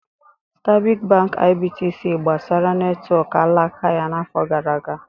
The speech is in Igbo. Stanbic Bank IBTC gbasaara netwọk alaka ya n'afọ gara aga.